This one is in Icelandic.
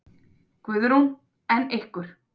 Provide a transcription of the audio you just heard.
Guðrún: En ykkur?